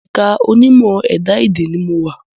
Ẹ̀ka onímọ̀ ẹ̀dá-èdè ni mo wà